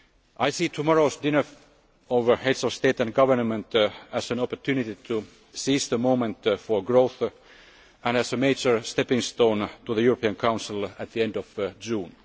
I see tomorrow's dinner of Heads of State and Government as an opportunity to seize the moment for growth, and as a major stepping stone to the European Council at the end of June